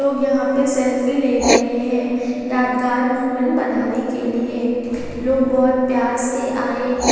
लोग यहां पे सेल्फी ले रहे हैं यादगार मोमेंट बनाने के लिए लोग बहोत प्यार से आए हैं।